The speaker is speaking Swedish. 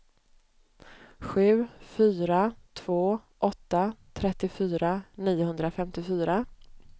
sju fyra två åtta trettiofyra niohundrafemtiofyra